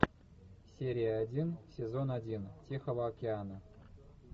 серия один сезон один тихого океана